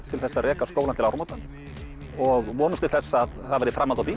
til að reka skólann til áramóta og vonumst til þess að það verði framhald á því